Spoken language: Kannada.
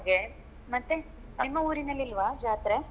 ಹಾಗೆ ಮತ್ತೆ ನಿಮ್ಮ ಊರಿನಲ್ಲಿ ಇಲ್ವಾ ಜಾತ್ರೆ.